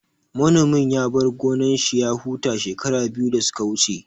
Manomin ya bar gonan shi ya huta shekara biyu da suka wuce